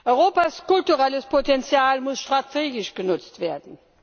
Europas kulturelles Potenzial muss strategisch genutzt werden.